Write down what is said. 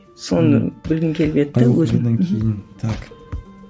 соны білгім келіп еді де өзім так